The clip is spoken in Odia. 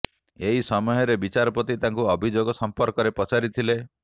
ଏହି ସମୟରେ ବିଚାରପତି ତାଙ୍କୁ ଅଭିଯୋଗ ସମ୍ପର୍କରେ ପଚାରି ଥିଲେ